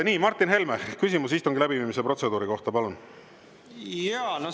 Nii, Martin Helme, küsimus istungi läbiviimise protseduuri kohta, palun!